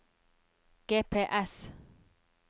GPS